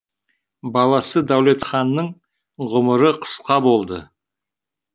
баласы дәулетханның ғұмыры қысқа болды